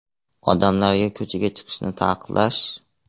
Odamlarga ko‘chaga chiqishni taqiqlash?